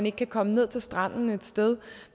ikke kan komme ned til stranden et sted